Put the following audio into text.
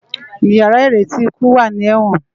Iyàrá iréti ikú wá ni èwòn